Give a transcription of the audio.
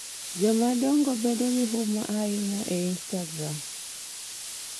Jomadongo bedo gi huma ahinya e instagram